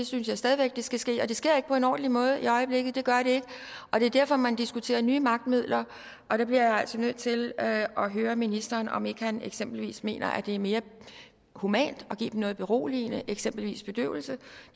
synes stadig væk det skal ske på en ordentlig måde ikke i øjeblikket og det er derfor man diskuterer nye magtmidler og der bliver jeg altså nødt til at at høre ministeren om ikke han eksempelvis mener at det er mere humant at give dem noget beroligende eksempelvis bedøvelse